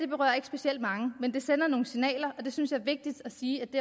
berører ikke specielt mange men det sender nogle signaler og jeg synes det er vigtigt at sige at det